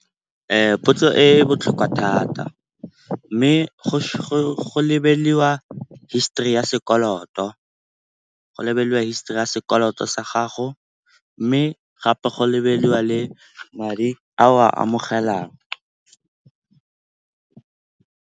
Potso e botlhokwa thata mme go lebelelwa histori ya sekoloto, go lebelela histori ya sekoloto sa gago mme gape go lebelelwa le madi a o a amogelang.